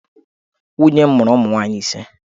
Nwunye m mụrụ ụmụ nwaanyị ise.